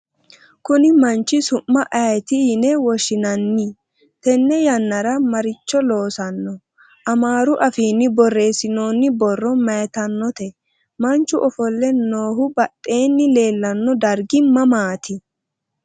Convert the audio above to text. Kunni manchi su'ma ayeeti yine woshshinanni? Tenne yannara maaricho loosanno? Amaaru Afiinni Borreessinoonni borro maytannote? Manchu offolle noohu badheenni leellanno dargi mamaati?